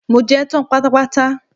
Mo jẹ́ tán pátápátá.